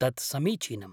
तत् समीचीनम्।